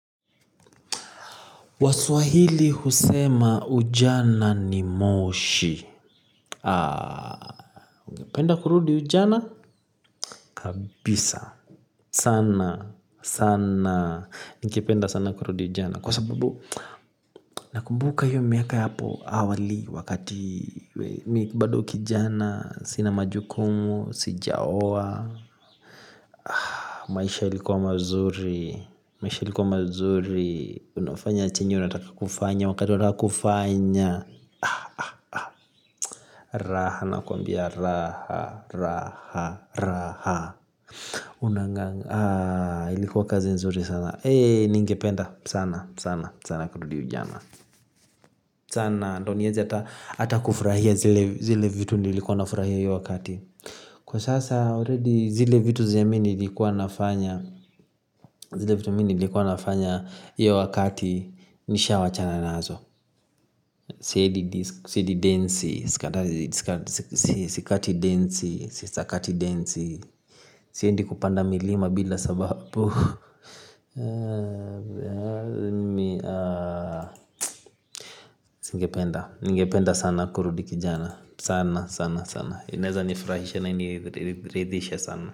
Waswahili husema ujana ni moshi. Ungependa kurudi ujana? Kabisa sana, sana ningependa sana kurudi ujana kwa sababu, nakumbuka hiyo miaka ya hapo awali wakati mimi bado kijana sina majukumu, sijaoa, maisha yalikuwa mazuri, maisha yalikuwa mazuri. Unafanya chenye unataka kufanya wakati unataka kufanya. Raha nakwambia raha raha raha. Unang'aa ilikuwa kazi nzuri sana, ningependa sana sana sana kurudi ujana. Sana ndo niweze hata kufurahia zile vitu nilikuwa nafurahia hiyo wakati. Kwa sasa zile vitu zile mimi nilikuwa nafanya. Zile vitu nilikuwa nafanya hiyo wakati. Nishawachana nazo. Siendi densi, sikati densi, sisakati densi. Siendi kupanda milima bila sababu. Ningependa sana kurudi kijana. Sana sana sana, inaweza nifurahisha na ingeniridhisha sana.